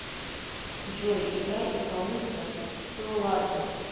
джой играй исполнителя солардо